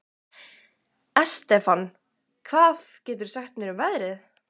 Estefan, hvað geturðu sagt mér um veðrið?